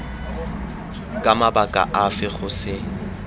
ka mabaka afe go se